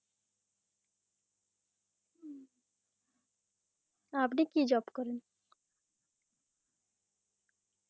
উম আপনি কি job করেন?